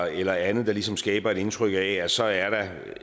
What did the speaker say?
eller andet der ligesom skaber et indtryk af at så er der